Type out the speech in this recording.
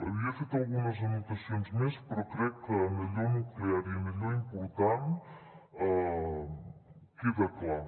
havia fet algunes anotacions més però crec que en allò nuclear i en allò important queda clar